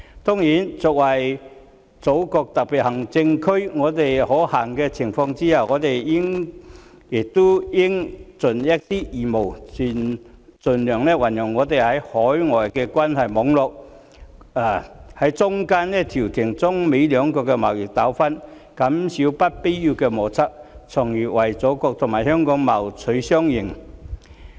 當然，作為祖國的特別行政區，在可行的情況下，我們也應一盡義務，盡量運用我們在海外的關係網絡，在中間調停中美兩國的貿易糾紛，減少不必要的摩擦，從而為祖國和香港謀取雙贏。